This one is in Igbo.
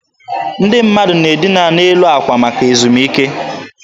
Ndị mmadụ na-adịna n'elu akwa maka ezumike.